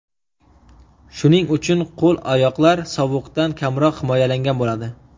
Shuning uchun qo‘l-oyoqlar sovuqdan kamroq himoyalangan bo‘ladi.